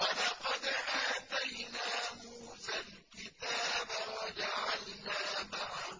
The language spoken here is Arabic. وَلَقَدْ آتَيْنَا مُوسَى الْكِتَابَ وَجَعَلْنَا مَعَهُ